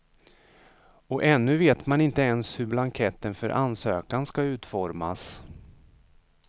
Och ännu vet man inte ens hur blanketten för ansökan ska utformas.